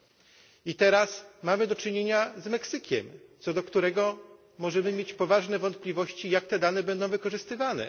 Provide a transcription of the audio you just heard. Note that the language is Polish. W tym przypadku mamy do czynienia z Meksykiem, co do którego możemy mieć poważne wątpliwości, jak te dane będą wykorzystywane.